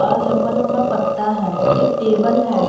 और लंबा लंबा पत्ता है एक टेबल है।